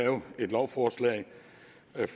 lovforslaget